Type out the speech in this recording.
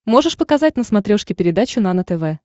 можешь показать на смотрешке передачу нано тв